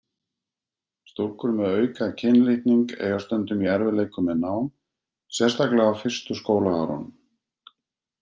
Stúlkur með auka kynlitning eiga stundum í erfiðleikum með nám, sérstaklega á fyrstu skólaárunum.